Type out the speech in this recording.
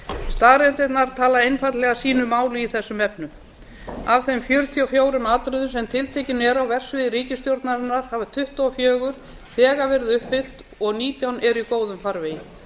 staðreyndirnar tala einfaldlega sínu máli í þessum efnum af þeim fjörutíu og fjórum atriðum sem tiltekin eru á vefsíðum ríkisstjórnarinnar hafa tuttugu og fjögur þegar verið uppfyllt og nítján eru í góðum farvegi